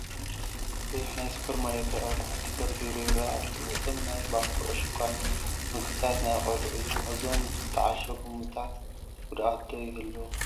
ብዙሕ ናይ ሱፐርማርኬት ኣቕሑ ተደርዲሩ ይረአ ኣሎ፡፡ እቶም ናይ ባኮ ዕሹጋት ምግብታትን ናይ ቆልዑን እዮም፡፡ እዞም ዝተዓሸጉ ምግብታት ጉድኣት ዶ ይህልዎም?